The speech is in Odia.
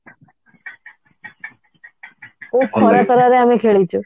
କଉ ଖରା ତରାରେ ଆମେ ଖେଳିଛୁ